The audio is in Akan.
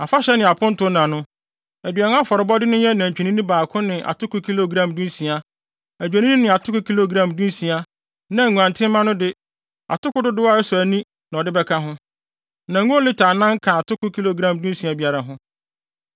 “ ‘Afahyɛ ne apontonna no, aduan afɔrebɔde no nyɛ nantwinini baako ne atoko kilogram dunsia, adwennini ne atoko kilogram dunsia, na nguantenmma no de, atoko dodow a ɛsɔ ani na ɔde bɛka ho, na ngo lita anan ka atoko kilogram dunsia biara ho.